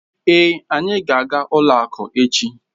Èé, anyị ga aga ụlọ akụ echi